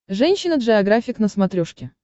женщина джеографик на смотрешке